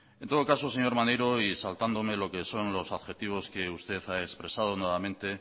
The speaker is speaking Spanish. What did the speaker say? en todo caso señor maneiro y saltándome lo que son los adjetivos que usted ha expresado nuevamente